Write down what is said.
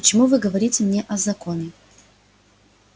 почему вы говорите мне о законе